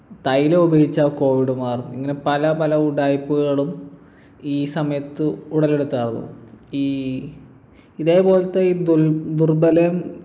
തൈലം ഉപയോഗിച്ചാ covid മാറും ഇങ്ങനെ പലപല ഉഡായിപ്പുകളും ഈ സമയത്ത് ഉടലെടുത്ത ആവും ഈ ഇതേപോലത്തെ ഈ ദുൽ ദുർബലവും